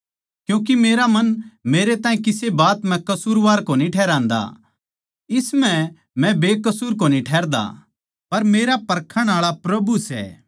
क्यूँके मेरा मन मेरै ताहीं किसे बात म्ह कसूरवार कोनी ठहरान्दा इस म्ह मै बेकसूर कोनी ठहरदा पर मेरा परखण आळा प्रभु सै